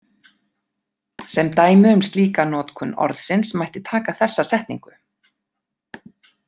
Sem dæmi um slíka notkun orðsins mætti taka þessa setningu.